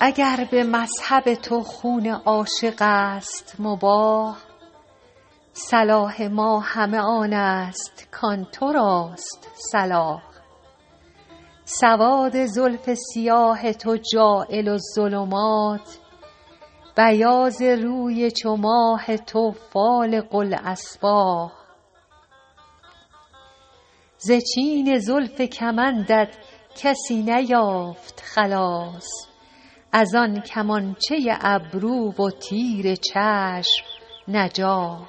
اگر به مذهب تو خون عاشق است مباح صلاح ما همه آن است کآن تو راست صلاح سواد زلف سیاه تو جاعل الظلمات بیاض روی چو ماه تو فالق الأصباح ز چین زلف کمندت کسی نیافت خلاص از آن کمانچه ابرو و تیر چشم نجاح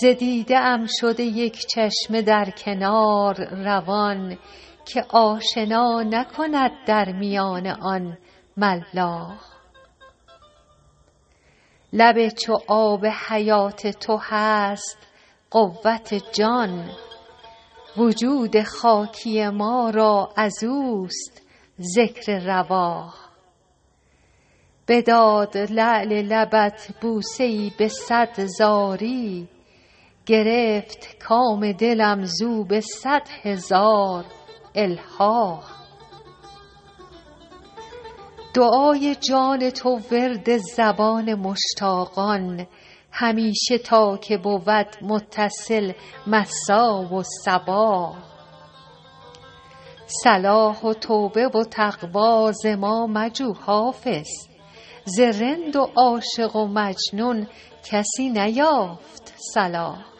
ز دیده ام شده یک چشمه در کنار روان که آشنا نکند در میان آن ملاح لب چو آب حیات تو هست قوت جان وجود خاکی ما را از اوست ذکر رواح بداد لعل لبت بوسه ای به صد زاری گرفت کام دلم زو به صد هزار الحاح دعای جان تو ورد زبان مشتاقان همیشه تا که بود متصل مسا و صباح صلاح و توبه و تقوی ز ما مجو حافظ ز رند و عاشق و مجنون کسی نیافت صلاح